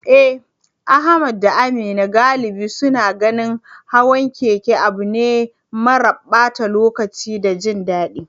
Eh, Ahmad da Amina galibi suna ganin hawan keke abu ne mara ɓata lokaci da jin daɗi.